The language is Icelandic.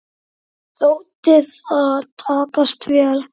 Þótti það takast vel.